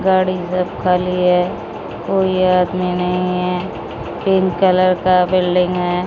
गाड़ी सब खाली है कोई आदमी नहीं है पिंक कलर का बिल्डिंग है।